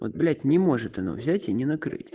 вот блять не может она взять и не накрыть